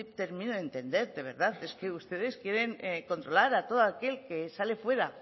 termino de entender de verdad es que ustedes quieren controlar a todo aquel que sale fuera